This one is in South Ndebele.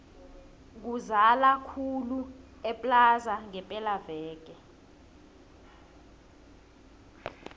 kuzala khulu eplaza ngepela veke